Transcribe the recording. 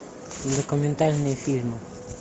документальные фильмы